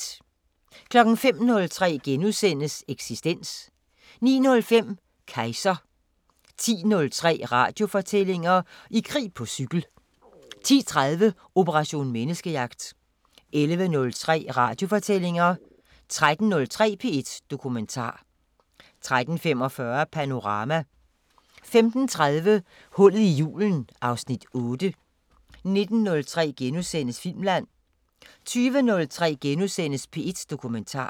05:03: Eksistens * 09:05: Kejser 10:03: Radiofortællinger: I krig på cykel 10:30: Operation Menneskejagt 11:03: Radiofortællinger 13:03: P1 Dokumentar 13:45: Panorama 15:30: Hullet i julen (Afs. 8) 19:03: Filmland * 20:03: P1 Dokumentar *